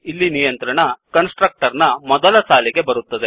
ಇಲ್ಲಿ ನಿಯಂತ್ರಣ ಕನ್ಸ್ಟ್ರಕ್ಟರ್ ನ ಮೊದಲ ಸಾಲಿಗೆ ಬರುತ್ತದೆ